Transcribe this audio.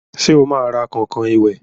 Sẹ́ ó máa ra kọ̀nkọ̀n ìwẹ̀?